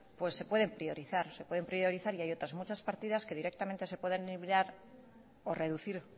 se pueden priorizar se pueden priorizar y hay otras muchas partidas que directamente se pueden eliminar o reducir